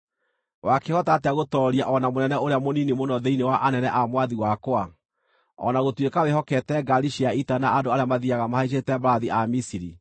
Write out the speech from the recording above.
Wakĩhota atĩa gũtooria o na mũnene ũrĩa mũnini mũno thĩinĩ wa anene a mwathi wakwa, o na gũtuĩka wĩhokete ngaari cia ita na andũ arĩa mathiiaga mahaicĩte mbarathi a Misiri?